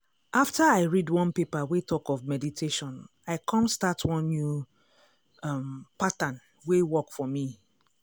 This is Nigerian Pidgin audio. after i read one paper wey talk of meditation i come start one new um pattern wey work for me.